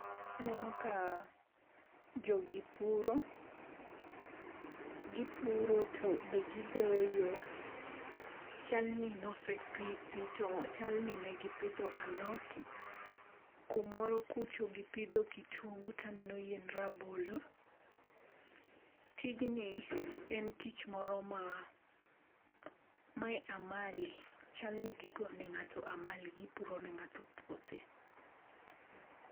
Aneno ka jogi puro, gipuro to be gidoyo. Chalni ne osepithi to chalni ne gipidho alot. Kumoro kucho gipidho kitungu to aneno yiend rabolo. Tijni en tich moro ma, mae amali. Chal ni gigo ne ng'ato amali gipuro ne ng'ato puothe.